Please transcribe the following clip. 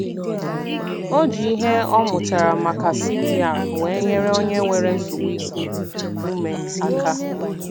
O ji ihe ọ mụtara maka CPR wee nyere onye nwere nsogbu iku ume aka